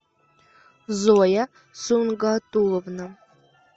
зоя сунгатуловна